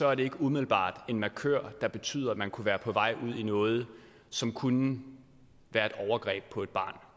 er det ikke umiddelbart en markør der betyder at man kunne være på vej ud i noget som kunne være et overgreb på et barn